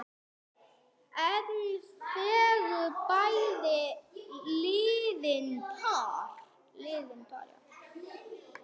Enn fengu bæði liðin par.